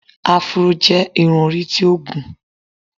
Afuró jẹ́ irú irun tó gùn.